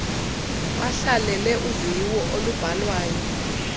bahlalele uviwo olubhalwayo